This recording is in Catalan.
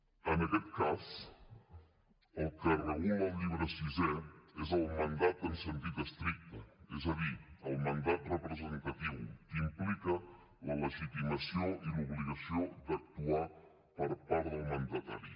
en aquest cas el que regula el llibre sisè és el mandat en sentit estricte és a dir el mandat representatiu que implica la legitimació i l’obligació d’actuar per part del mandatari